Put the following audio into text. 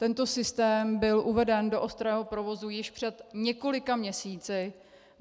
Tento systém byl uveden do ostrého provozu již před několika měsíci.